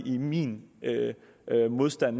min modstand